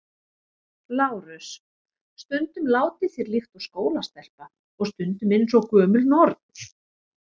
LÁRUS: Stundum látið þér líkt og skólastelpa og stundum eins og gömul norn.